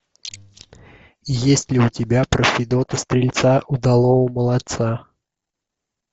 есть ли у тебя про федота стрельца удалого молодца